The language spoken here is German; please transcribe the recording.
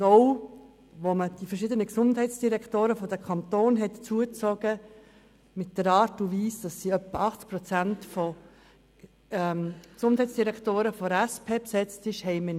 Zudem haben wir keine breite Akzeptanz erreicht, als die verschiedenen Gesundheitsdirektoren der Kantone hinzugezogen wurden, welche zu etwa 80 Prozent der SP angehören.